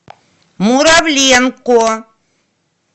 муравленко